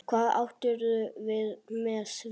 Hvað áttirðu við með því?